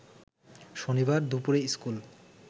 শনিবার দুপুরে স্কুল